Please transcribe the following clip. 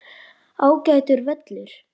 Ágætur völlur.